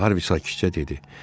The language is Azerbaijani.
Harvi sakitcə dedi.